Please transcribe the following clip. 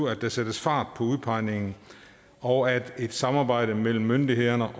at sætte fart på udpegningen og et samarbejde mellem myndighederne